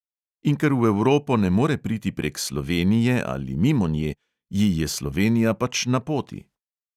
In ker v evropo ne more priti prek slovenije ali mimo nje, ji je slovenija pač na poti.